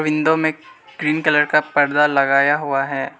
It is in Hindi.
विंडो में ग्रीन कलर का पर्दा लगाया हुआ है।